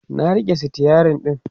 na rike stirin ɗin